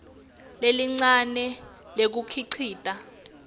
lelincane lekuwukhicita